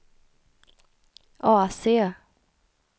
AC